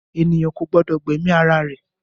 Ènìyàn kò gbọ́dọ̀ gba ẹ̀mí ara rẹ̀